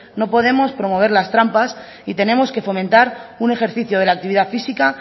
no podemos promover las trampas y tenemos que fomentar un ejercicio de la actividad física